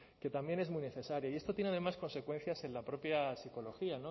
que también es muy necesaria y esto tiene además consecuencias en la propia psicología